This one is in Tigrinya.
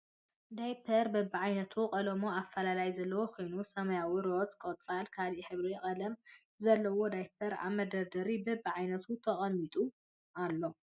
ዳይፐር በብዓይነቱ ቀለሙን ኣፈላላይ ዘለዎ ኮይኑ ሰማያዊ፣ ሮዝ፣ ቆፃልን ካልእ ሕብሪ ቀለም ዘለዎ ዳይፐራት ኣብ መደርደሪ በቢ ዓይነቱ ተቀሚጡ ኣሎ ።